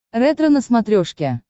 ретро на смотрешке